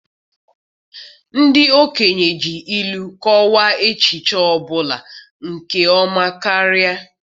Ndị okenye ji ilu kọwaa echiche ọ bụla nke ọma karịa.